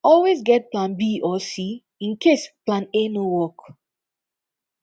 always get plan b or c in case plan a no work